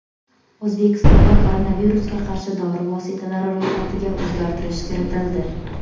O‘zbekistonda koronavirusga qarshi dori vositalari ro‘yxatiga o‘zgartirish kiritildi.